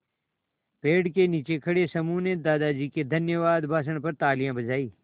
पेड़ के नीचे खड़े समूह ने दादाजी के धन्यवाद भाषण पर तालियाँ बजाईं